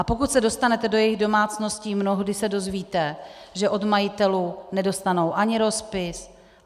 A pokud se dostanete do jejich domácností, mnohdy se dozvíte, že od majitelů nedostanou ani rozpis.